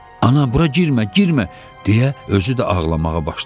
Ana, bura girmə, girmə, deyə özü də ağlamağa başladı.